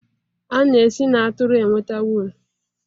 a na-esi na atụrụ enweta wụlụ